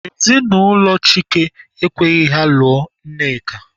Ezinụlọ Chike ekweghị ya lụọ Nneka.